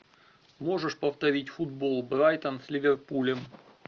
можешь повторить футбол брайтон с ливерпулем